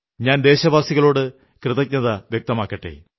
ഞാൻ ദേശവാസികളോടു കൃതജ്ഞത വ്യക്തമാക്കട്ടെ